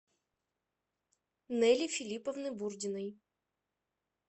нэли филипповны бурдиной